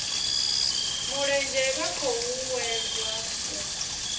mulenzhe vha khou uuwedzwa u